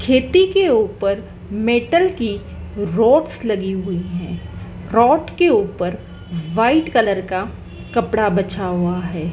खेती के ऊपर मेटल की रोड्स लगी हुई है रॉड के ऊपर व्हाइट कलर का कपड़ा बछा हुआ है।